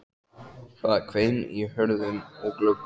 Það hvein í hurðum og gluggum.